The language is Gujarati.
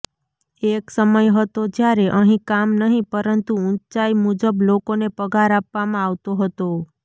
એક સમય હતો જ્યારે અહીં કામ નહીં પરંતુ ઊંચાઈ મુજબ લોકોને પગાર આપવામાં આવતો હતો